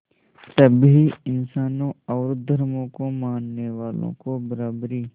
सभी इंसानों और धर्मों को मानने वालों को बराबरी